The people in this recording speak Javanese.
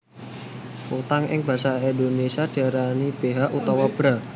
Kutang ing basa Indonesia diarani beha utawa bra